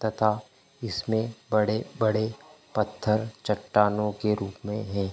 तथा इसमे बड़े-बड़े पत्थर चट्टानो के रुप में है।